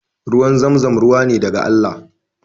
Ruwan zamzam ruwa ne daga Allah